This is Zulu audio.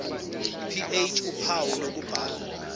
ph uphawu lokubhala